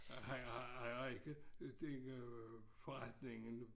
Øh han han ejer ikke den øh forretning nu